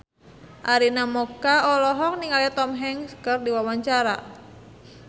Arina Mocca olohok ningali Tom Hanks keur diwawancara